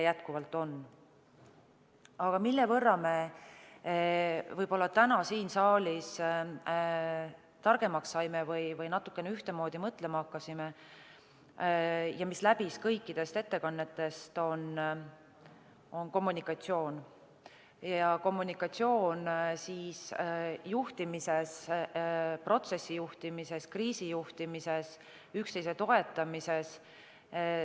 Aga see, mille osas me täna siin saalis võib-olla targemaks saime või natukene ühtemoodi mõtlema hakkasime ja mis läbis kõiki ettekandeid, on kommunikatsioon – kommunikatsioon juhtimises, sh protsessijuhtimises, kriisijuhtimises, üksteise toetamises.